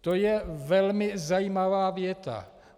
To je velmi zajímavá věta.